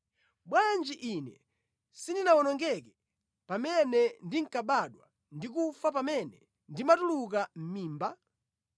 “Bwanji ine sindinawonongeke pamene ndinkabadwa ndi kufa pamene ndimatuluka mʼmimba?